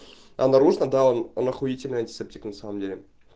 а наружно да он он ахуительный антисептик на самом деле